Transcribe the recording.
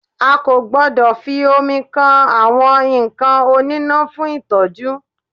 A kò gbọdọ̀ fi omi kan àwọn nǹkan oníná fún ìtọ́jú.